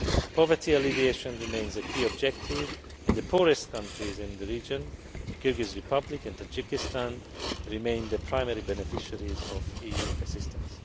Poverty alleviation remains a key objective and the poorest countries in the region the Kyrgyz Republic and Tajikistan remain the primary beneficiaries of EU assistance.